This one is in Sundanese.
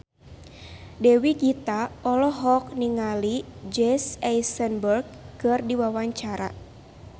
Dewi Gita olohok ningali Jesse Eisenberg keur diwawancara